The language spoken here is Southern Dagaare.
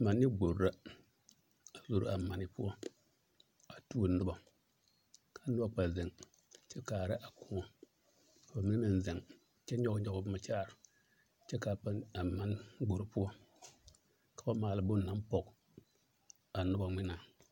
Mane gbori la a zoro a mane poɔ a tuo nobɔ ka nobɔ kpɛ zeŋ kyɛ kaara a kõɔ ka bamine meŋ zeŋ kyɛ nyɔge nyɔge boma kyɛ are kyɛ k'a mane gbori poɔ ka ba maale bone naŋ pɔge a nobɔ ŋmenaa.